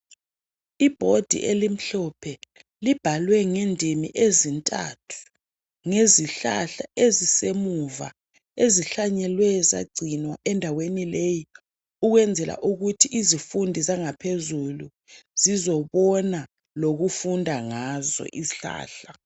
Ibhodi elimhlophe libhalwe ngendimi ezintathu ngezihlahla ezisemuva ezihlanyeliwe zagcinwa endaweni leyi ukwenzela ukuthi izifundi zangaphezulu zizobona lokufunda ngazo izihlahla.